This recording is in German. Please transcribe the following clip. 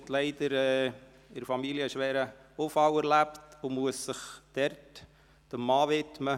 Sie erlebte in ihrer Familie einen schweren Unfall und muss sich nun ihrem Mann widmen.